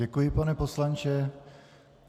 Děkuji, pane poslanče.